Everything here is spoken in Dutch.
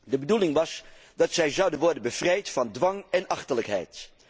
De bedoeling was dat zij zouden worden bevrijd van dwang en achterlijkheid.